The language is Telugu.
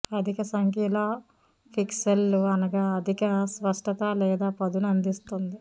అధిక సంఖ్యలో పిక్సెళ్ళు అనగా అధిక స్పష్టత లేదా పదును అందిస్తుంది